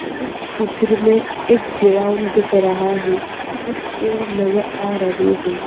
इस चित्र में एक गेराउड दिख रहा है। कुछ पेड़ नजर आ रहे है।